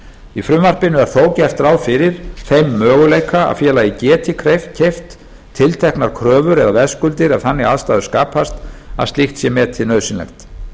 í frumvarpinu er þó gert ráð fyrir þeim möguleika að félagið geti keypt tilteknar kröfur eða veðskuldir ef þannig aðstæður skapast að slíkt sé metið nauðsynlegt